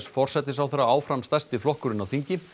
forsætisráðherra áfram stærsti flokkurinn á þingi